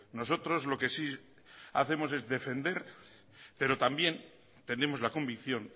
nosotros lo que sí hacemos es defender pero también tenemos la convicción